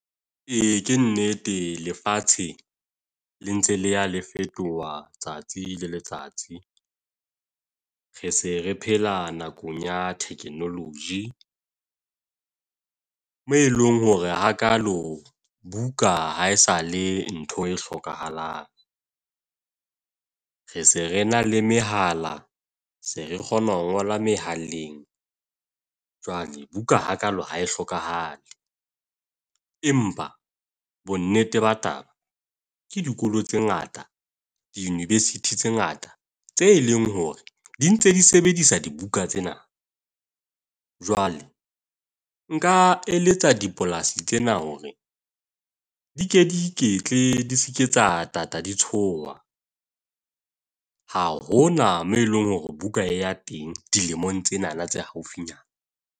Ee, ke nnete lefatshe le ntse le ya la fetoha tsatsi le letsatsi. Re se re phela nakong ya technology. Mo eleng hore ha kalo buka ha esale ntho e hlokahalang. Re se re na le mehala, se re kgona ho ngola mehaleng. Jwale, buka ha kalo ha e hlokahale. Empa bo nnete ba taba, ke dikolo tse ngata, di-university tse ngata, tse leng hore di ntse di sebedisa dibuka tsena. Jwale, nka eletsa dipolasi tsena hore di ke di I Ketle, di seke tsa tata di tsoha. Ha hona moo eleng hore Buka e ya teng dilemong tsena tse haufinyana.